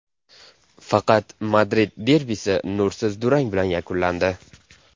Faqat Madrid derbisi nursiz durang bilan yakunlandi.